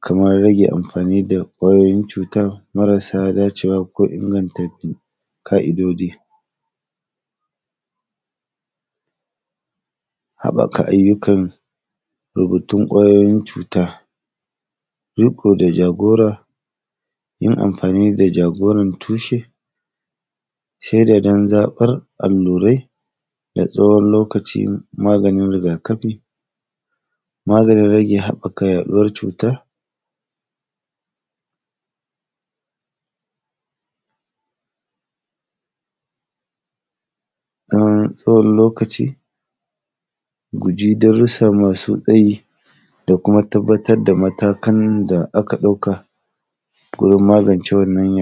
kamar rage amfani da ƙwayoyin cutan marasa dacewa ko inganta m; ka’idodi Haƃaka ayyukan, da batun ƙwayoyin cuta, riƙo da jagora, yin amfani da jagoran tushe, sheda don zaƃar allurai da tsawon lokacin malamin riga-kafi, maganin rage haƃaka yaɗuwar cuta na tsawon lokaci, guji darussa masu tsayi da kuma tabbatad da matakan da aka ɗauka gurin magance wannan yaɗ.